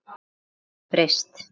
Margt hefur breyst.